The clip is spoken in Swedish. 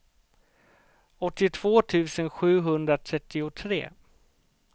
åttiotvå tusen sjuhundratrettiotre